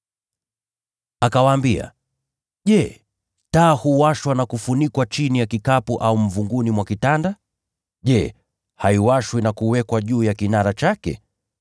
Akawaambia, “Je, taa huwashwa na kufunikwa chini ya kikapu au mvunguni mwa kitanda? Je, haiwashwi na kuwekwa juu ya kinara chake?